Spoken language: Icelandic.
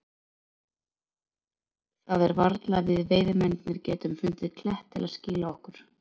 Það er varla að við veiðimennirnir getum fundið klett til að skýla okkur.